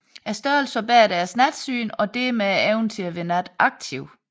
Størrelsen forbedrer deres natsyn og dermed evnen til at være nataktiv